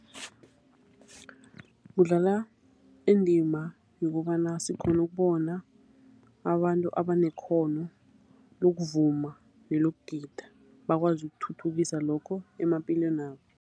Kudlala indima yokobana sikghona ukubona abantu abanekghono lokuvuma nelokugida, bakwazi ukuthuthukisa lokho emaphilwenabo.